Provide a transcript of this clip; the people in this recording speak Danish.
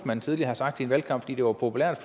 man tidligere har sagt i en valgkamp fordi det var populært